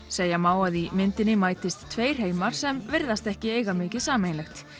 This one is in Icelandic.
segja má að í myndinni mætist tveir heimar sem virðast ekki eiga mikið sameiginlegt